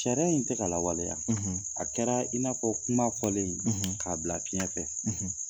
Sariya in tɛ ka lawaleya. a kɛra i n'afɔ kuma fɔlen k'a bila fiɲɛ fɛ.